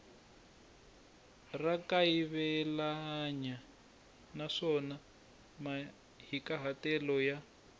ra kayivelanyana naswona mahikahatelo ya